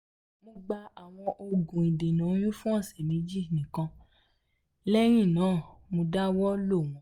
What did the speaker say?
mo gba um awọn oogun idena oyun fun ọsẹ meji um nikan lẹhinna mo dawọ lo wọn